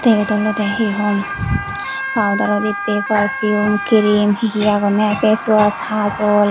yot olodey hi hom powdero dibbey perpume kirim hi hi agonney pace wash hajol.